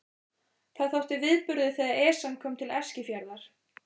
Það þótti viðburður þegar Esjan kom til Eskifjarðar.